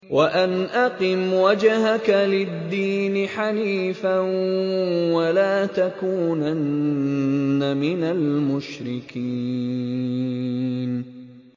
وَأَنْ أَقِمْ وَجْهَكَ لِلدِّينِ حَنِيفًا وَلَا تَكُونَنَّ مِنَ الْمُشْرِكِينَ